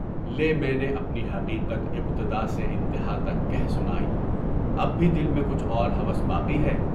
لے میں نے اپنی حقیقت ابتدا سے انتہا تک کہہ سنائی، اب بھی دل میں کچھ اور ہوس باقی ہے؟